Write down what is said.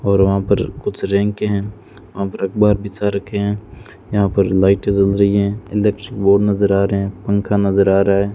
और वहां पर कुछ रैंके हैं वहाँ पर अख़बार बिछा रखे हैं यहां पर लाइटे जल रही है इलेक्ट्रिक बोर्ड नजर आ रहे हैं पंखा नजर आ रहा है।